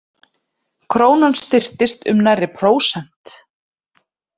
Krónan styrktist um nærri prósent